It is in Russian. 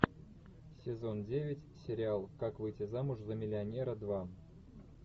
сезон девять сериал как выйти замуж за миллионера два